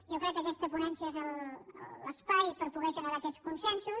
jo crec que aquesta ponència és l’espai per poder generar aquests consensos